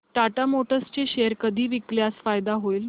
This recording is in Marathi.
टाटा मोटर्स चे शेअर कधी विकल्यास फायदा होईल